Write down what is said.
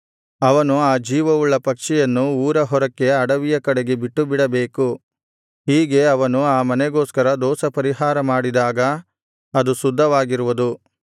ಅವನು ಆ ಜೀವವುಳ್ಳ ಪಕ್ಷಿಯನ್ನು ಊರ ಹೊರಕ್ಕೆ ಅಡವಿಯ ಕಡೆಗೆ ಬಿಟ್ಟುಬಿಡಬೇಕು ಹೀಗೆ ಅವನು ಆ ಮನೆಗೋಸ್ಕರ ದೋಷಪರಿಹಾರ ಮಾಡಿದಾಗ ಅದು ಶುದ್ಧವಾಗಿರುವುದು